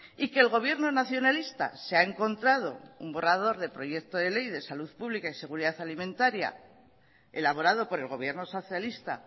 y que el gobierno nacionalista se ha encontrado un borrador de proyecto de ley de salud pública y seguridad alimentaria elaborado por el gobierno socialista